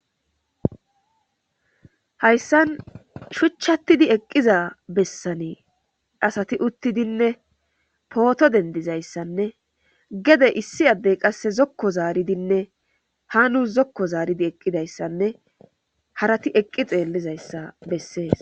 Hayssan shuchchattidi eqqiza bessanei asati uttidinne pooto dendizayssanne gede issi addey qasse zokko zaaridinne ha nus zokko zaaridi eqqidayssanne harati eqqi xeellizayssa bessees.